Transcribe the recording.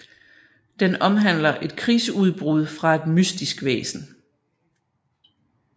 Den omhandler et krigsudbrud fra et mystisk væsen